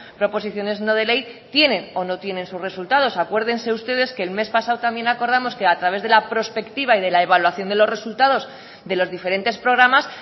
proposiciones no de ley tienen o no tienen sus resultados acuérdense ustedes que el mes pasado también acordamos que a través de la prospectiva y de la evaluación de los resultados de los diferentes programas